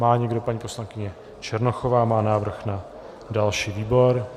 Má někdo - paní poslankyně Černochová má návrh na další výbor.